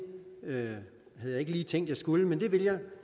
havde jeg ikke lige tænkt at jeg skulle men det vil jeg